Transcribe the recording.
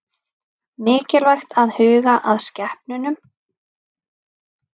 Mikilvægt að huga að skepnunum